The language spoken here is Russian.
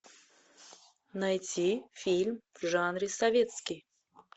найти фильм в жанре советский